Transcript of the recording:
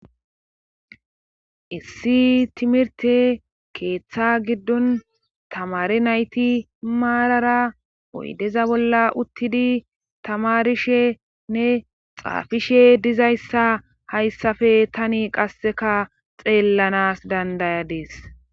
issi timirte keeththa giddon tamare nayti maarara oydeza bolla uttidi tamarishenne xaafishe dizayssa hayssafe tani qasseka xeellanas dandayadees